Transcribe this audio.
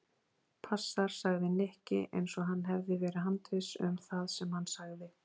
Passar sagði Nikki eins og hann hefði verið handviss um það sem hann sagði.